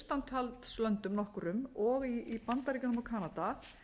verst í austantjaldslöndum nokkrum og í bandaríkjunum og kanada